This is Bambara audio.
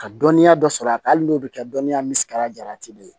Ka dɔnniya dɔ sɔrɔ a kan hali n'o bɛ kɛ dɔnniya misida jalati de ye